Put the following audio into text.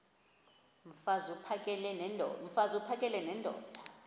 mfaz uphakele nendoda